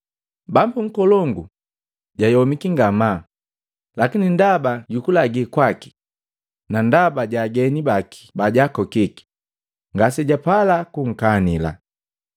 Bambu nkolongu jayomiki ngamaa, lakine ndaba jukulagi kwaki, na ndaba ja ageni baki bajakokiki, ngasijapala kunkanila.